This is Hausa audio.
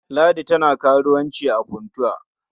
Ladi tana karuwanci a Funtua.